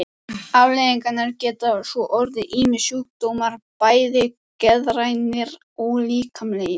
Afleiðingarnar geta svo orðið ýmsir sjúkdómar, bæði geðrænir og líkamlegir.